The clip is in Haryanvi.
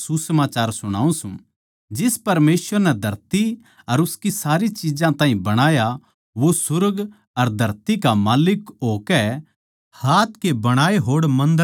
जिस परमेसवर नै धरती अर उसकी सारी चिज्जां ताहीं बणाया वो सुर्ग अर धरती का माल्लिक होकै हाथ के बणाए होड़ मन्दरां म्ह कोनी रहन्दा